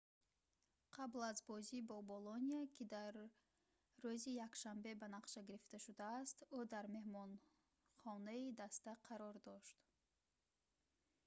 қабл аз бозӣ бо болония ки дар рӯзи якшанбе ба нақша гирифта шудааст ӯ дар меҳмонхонаи даста қарор дошт